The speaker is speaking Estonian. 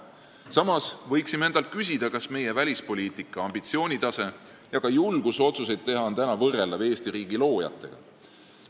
Samas võiksime endalt küsida, kas meie praegune välispoliitika ambitsioonitase ja julgus otsuseid teha on võrreldav Eesti riigi loojate omaga.